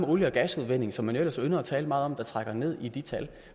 olie og gasudvinding som man jo ellers ynder at tale meget om der trækker ned i de tal